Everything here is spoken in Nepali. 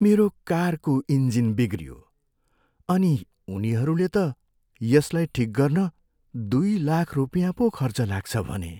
मेरो कारको इन्जिन बिग्रियो अनि उनीहरूले त यसलाई ठिक गर्न दुई लाख रुपियाँ पो खर्च लाग्छ भने।